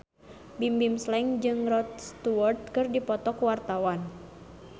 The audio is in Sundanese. Bimbim Slank jeung Rod Stewart keur dipoto ku wartawan